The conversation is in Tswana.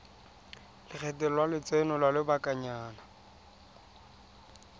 lekgetho la lotseno lwa lobakanyana